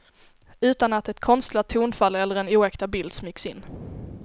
Utan att ett konstlat tonfall eller en oäkta bild smygs in.